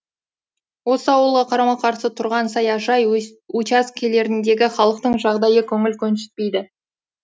осы ауылға қарама қарсы тұрған саяжай учаскелеріндегі халықтың жағдайы көңіл көншітпейді